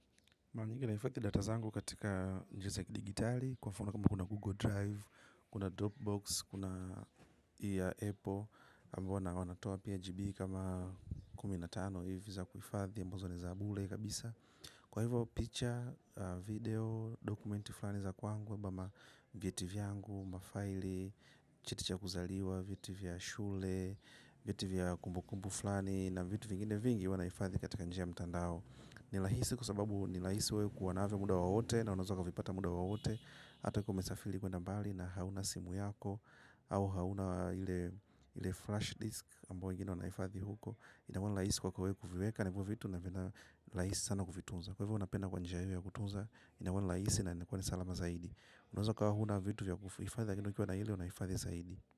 Maranyingi nahifadhi data zangu katika njia za kidigitali, kwa mfano kama kuna Google Drive, kuna Dropbox, kuna Apple, ambayo na wanatoa pia GB kama kuminatano hivi za kuhifadhi ambazo ni za bure kabisa. Kwa hivyo, picha, video, dokumenti fulani za kwangu, ama vyetivyangu, mafaili, cheticha kuzaliwa, vyeti vya shule, vyetivya kumbu kumbu fulani, na vitu vingine vingi huwanahifadhi katika njia ya mtandao. Ni rahisi kwasababu ni rahisi wewe kuwa navyo muda wowote na unaweza kuvipata muda wowote. Hata kama umesafili kwenda bali na hauna simu yako. Au hauna ile flash disk ambayo ingine wanaifadhi huko. Inakuwani rahisi kwako wewe kuviweka na ivovitu na rahisi sana kuvituza. Kwahivyo huwa napenda kwa njia iyo ya kutuza. Inakuwa ni rahisi na inakuwa nisalamazaidi. Unaweza ukawa huna vitu vya kuhifadhi lakini ukiwa na ile unaifadhi zaidi.